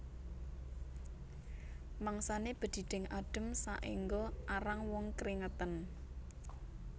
Mangsané bedhidhing adhem saéngga arang wong kringeten